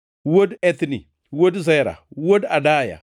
wuod Ethni, wuod Zera, wuod Adaya,